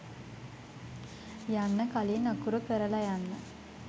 යන්න කලින් අකුරු කරල යන්න